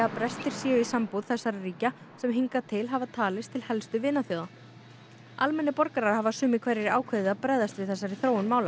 brestir séu í sambúð þessara ríkja sem hingað til hafa talist til helstu vinaþjóða almennir borgarar hafa sumir hverjir ákveðið að bregðast við þessari þróun mála